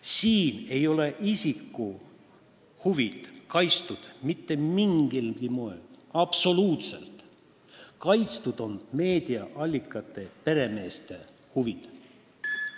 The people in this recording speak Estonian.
Siin ei ole isiku huvid mitte mingilgi moel kaitstud, kaitstud on meediaallikate peremeeste huvid.